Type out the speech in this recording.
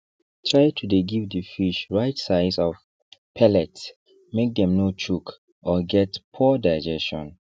try to dey give the fish right size of pellet make them no choke or get poor digestion